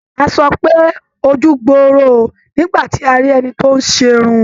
A sọ pé "ojú gbooro o" nígbà tí a rí ẹni tí ó ń ṣe irun.